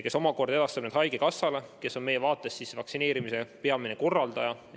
Tema omakorda edastab need andmed haigekassale, kes on meie vaates vaktsineerimise peamine korraldaja.